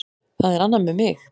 Það er annað með mig.